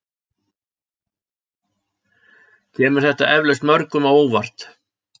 Kemur þetta eflaust mörgum á óvart